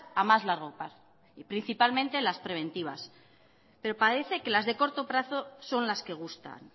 a más largo plazo principalmente las preventivas pero parece que las de corto plazo son las que gustan